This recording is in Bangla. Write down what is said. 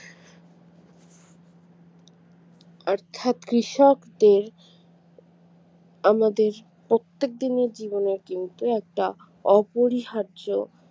অর্থাৎ কৃষকদের আমাদের প্রত্যেকদিনের জীবনে কিন্তু একটা অপরিহার্য